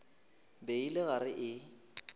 be e le gare e